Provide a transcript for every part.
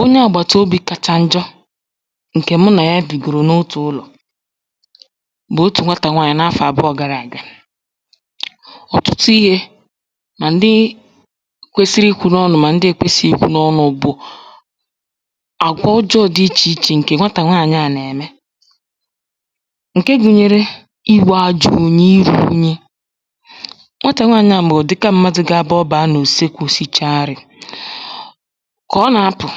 onye àgbàtobī kacha njọ ǹkè mụ nà ya bìgòrò n’otù ụlọ̀ bụ̀ otù nwatà nwaànyị n’afọ̀ àbụọ̄ gara àga. ọ̀tụtụ ihē mà ndị kwesiri ikwū n’ọnụ̄ mà ndị na-ekwēsìghì ikwū n’ọnụ̄ bụ̀ àgwà ọjọ̀ọ̄ dị ichè ichè ǹkè nwatà nwaànyị à nà-ème ǹke gụ̄nyērē iwū ajọ̄ ōnyē irū ūnyī nwatà nwaànyị à bụ̀ ùdịka m̄mādụ̀ bụ ọ bàa n’ùsekū sicha nrī kà ọ nà-apụ̀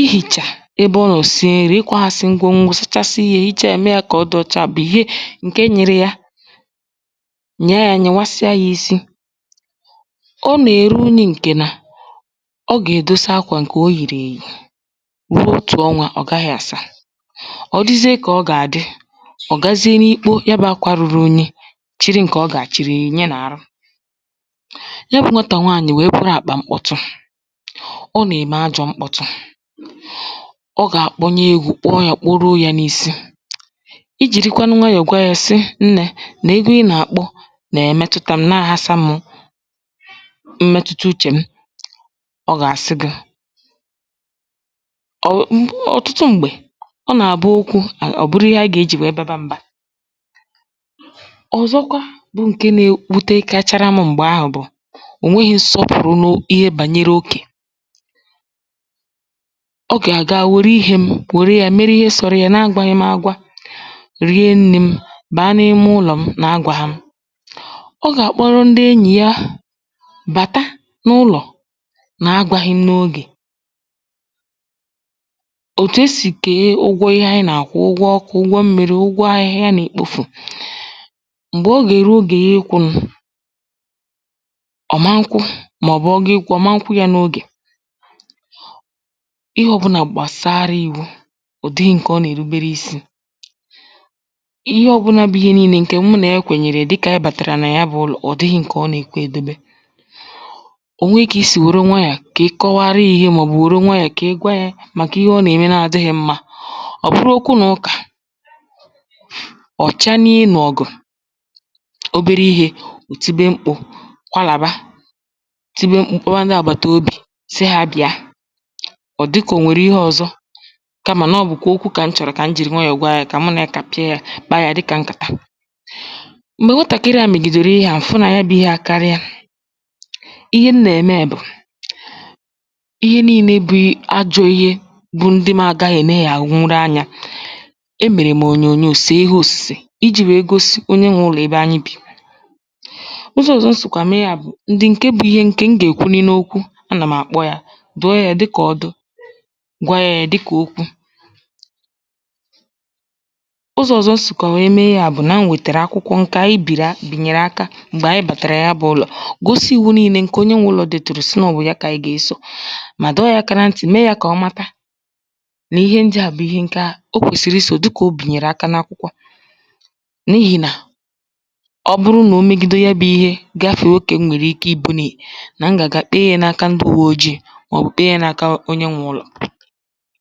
ihìchà ebe ọ nọọ̀ sie nrī ikwāhāsị̄ ngwo ngwo sachasị ihē hicha yā mee yā kà ọ dị ōchā bụ̀ ihe ǹke nyịrị ya, nyị̀a yā nyị̀wasịa yā isi ọ nà-èru unyī ǹkè nà ọ gà-èdosa akwà ǹkè o yìrì èyì ruo otù ọnwā ọ gaghị̄ àsa ọ disie kà ọ gà-àdị ọ̀ gazie n’ikpo ya bụ̀ akwā ruru inyi chịrị ǹkè ọ gà-àchịrị nyìnye n’àrụ ya bụ̄ nwatà nwaànyị̀ wèe bụrụ àkpà mkpọcha ọ nà-ème ajọ̄ mkpọtụ ọ gà-àkpọnye egwū kpọọ yā kpọruo yā n’īsī ijìrikwanụ nwayọ̀ gwa yā sị nnē nà egwu ị nà-àkpọ nà-ẹ̀mẹtụta m̄ na-àhasā mụ̀ mmẹtụta uchè m, ọ gà-àsị gị̄ ọ̀ ọ̀ ọ̀tụtụ m̀gbè ọ nà-àbụ okwū ọ̀ bụrụ ihe ànyị ga-ejì nwèe baba m̄bā. ọ̀zọkwa bụ ǹke na-ewutekachara m̄ m̀gbè ahụ̀ bụ̀ ò nweghī nsọpụ̀rụ n’ihe gbànyere okè ọ gà-àga nwère ihē m̄ nwère yā mere ihe sōrọ̄ yā na-agwāghị̄ m̄ āgwā rie nnī m̄ bàa n’ime ụlọ̀ m na-agwāhā m̄ ọ gà-àkpọrọ ndị enyì ya bàta n’ụnọ̀ na-agwāghị̄ m̄ n’ogè òtù esì kèe ụgwọ ihe anyị nà-àkwụ ụgwọ ọkụ̄ ụgwọ mmīrī ụgwọ ahịhịa nà ikpōfù m̀gbè ọ gà-èru ogè ya ịkwụ̄ nụ̀ ọ̀ ma nkwụ màọ̀bụ̀ ọ ga-ịkwụ̄ ọ̀ ma nkwụ yā n’ogè. ihe ọ̄bụ̄nà gbàsara ìwu ụ̀dịrị ǹkè ọ nà-èrubere isī, ihe ọ̄bụ̄nà bụ ihe niīnē ǹkè mụ nà ya kwènyèrè dịkà ànyị bàtàrà nà ya bụ̄ ụlọ̀ ọ̀ dịghị̄ ǹkè ọ nà-èkwe èdobe o nwe kà i sì nwère nwayọ̀ kà ị kọwarụ yā ihe màọ̀bụ̀ nwère nwayọ̀ kà ị gwa yā màkà ihe ọ nà-ème na-adị̄ghị̀ mmā ọ̀ bụrụ okwu nà ụkà ọ̀ chanie ịnụ̀ ọ̀gụ̀ obere ihē ò tibe mkpū kwalàba tibe mkpū kpọwa ndị àgbàtobì sị hā bị̀a ọ̀ dịkà ò nwèrè ihe ọ̄zọ̄ kamà nà ọ bụ̀kwà okwu kà m chọ̀rọ̀ kà m jìri nwayọ̀ gwa yā kà mụ nà ya kàpịa yā kpaa yà dịkà nkàta m̀gbè nwatàkịrị à mègìdèrè ihe à m̀ fụ nà ya bụ̄ ihe àkarịa ihe m nà-ème bụ̀ ihe niīnē bụ ajọ̄ ihe bụ ndị m agāghị̄ èneghàwụrụ anyā emèrè m̀ ònyònyoò sèe ihe ọ̀sụ̀sè ijī nwèe gosi onye nwē ụlọ̀ ebe anyị bì ụzọ̄ ọ̀zọ̀ m sìkwà mee yā bụ̀ ndị ǹke bụ̄ ihe ǹkè m gà-èkwuni n’okwu anà m̀ àkpọ yā dụọ yā dịkà ọdụ̀ gwa yā yā dịkà okwu, ụzọ̄ ọ̀zọ̀ m sị̀kwà nwèe mee yā bụ̀ nà m nwètèrè akwụkwọ ǹkè ànyị bìrì bìnyèrè aka m̀gbè ànyị bàtàrà ya bụ̄ ụlọ̀ gosi ìwu niīnē ǹkè onye nwē ụlọ̄ dètùrù sị nà ọ wụ̀ ya kà ànyị gà-esò mà dọọ yā aka na ntị̀ mee yā kà ọ mata nà ihe ndị à bụ̀ ihe nga o kwèsìrì isò dịkà o bìnyèrè aka n’akwụkwọ à n’ihì nà ọ bụrụ nà o megide ya bụ̄ ihe gafèe okè m nwèrè ike ibūnī nà m gà-àga kpee yā n’aka ndị ùwe ojiī màọ̀bụ̀ kpee yā na-aka onye nwē ụlọ̀